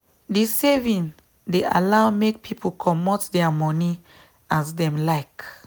the saving dey allow make people commot their moni as them like.